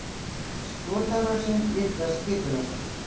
Skotárásin líklega skipulögð